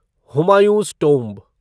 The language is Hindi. हुमायूं'स टोम्ब